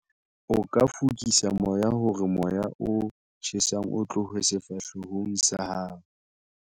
O ka fokisa moya hore moya o tjhesang o tlohe sefahlehong sa hao.